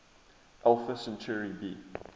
alpha centauri b